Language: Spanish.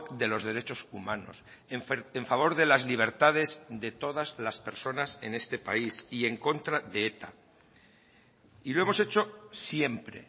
de los derechos humanos en favor de las libertades de todas las personas en este país y en contra de eta y lo hemos hecho siempre